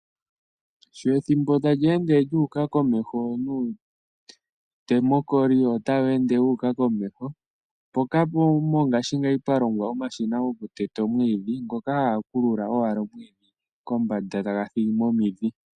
Sho ethimbo tali ende lyu uka komeho nuundemokoli otawu ende wu uka komeho .mpoka mongaashingeyi pwalongwa omashina goku teta omwiidhi, ngoka haga kulula omwiidhi kombanda